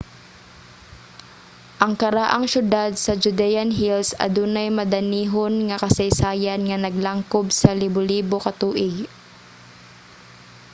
ang karaang siyudad sa judean hills adunay madanihon nga kasaysayan nga naglangkob sa libolibo ka tuig